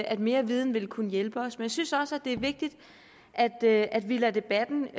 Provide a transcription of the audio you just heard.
at mere viden vil kunne hjælpe os men jeg synes også det er vigtigt at at vi lader debatten